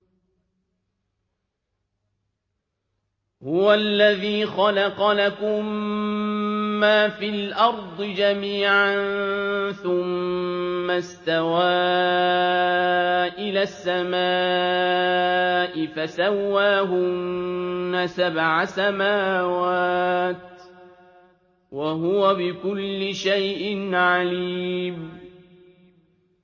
هُوَ الَّذِي خَلَقَ لَكُم مَّا فِي الْأَرْضِ جَمِيعًا ثُمَّ اسْتَوَىٰ إِلَى السَّمَاءِ فَسَوَّاهُنَّ سَبْعَ سَمَاوَاتٍ ۚ وَهُوَ بِكُلِّ شَيْءٍ عَلِيمٌ